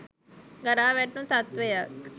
ගරා වැටුණ තත්ත්වයක්.